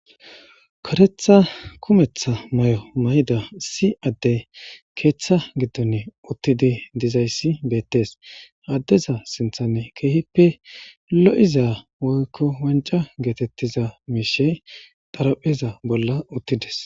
Kartehtha kumeththa maayo mayida issi addey keththa giddon uttidi diizayssi bettes ha addeza sinththan kehippe lo'iza woykko wancca gettetiza mishshey xarapheza bolla uttides.